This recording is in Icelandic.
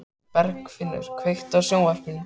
Bergfinnur, kveiktu á sjónvarpinu.